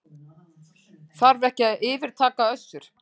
Þarf ekki að yfirtaka Össur